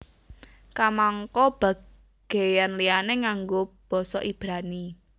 Kamangka bagéyan liyané nganggo basa Ibrani